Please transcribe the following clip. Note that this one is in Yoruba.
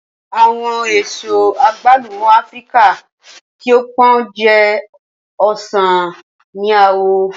Awọn eso agbalumo Afirika ti o pọn jẹ osan ni awọ.